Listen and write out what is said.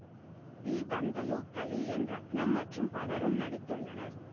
we Panthulu Kali N Ratnam மற்றும் பலரும் நடித்துள்ளனர்